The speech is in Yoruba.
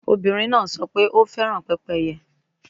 Obinrin naa sọ pe o fẹran pepeye